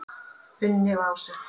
Unni og Ásu.